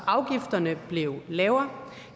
afgifterne blev lavere